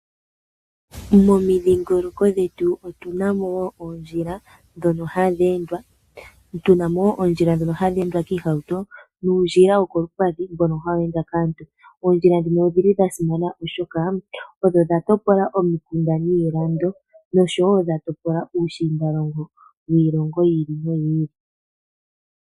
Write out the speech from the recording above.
Momidhingoloko dhetu otunamo oodjila dhono hadhi endwa, oondjila dhono hadhi endwa kiihauto nuundjila wokolupadhi mbono hawu endwa kaantu, oondjila ndhino odhili dhasimana oshoka odho dhatopola omikunda niilando, nosho wo dhatopola uushinda longo wiilongo yi ili no yi ili.